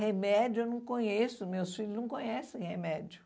Remédio eu não conheço, meus filhos não conhecem remédio.